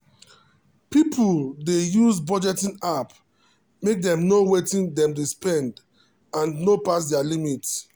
people dey use budgeting app make dem know wetin dem dey spend and no pass their limit.